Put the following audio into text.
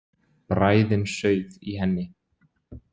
Bræðin sauð í henni.